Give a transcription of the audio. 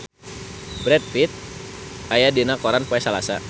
Brad Pitt aya dina koran poe Salasa